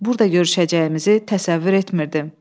Burda görüşəcəyimizi təsəvvür etmirdim.